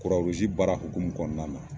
baara hukumu kɔnɔna na.